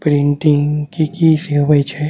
Printing की-की से होवे छै।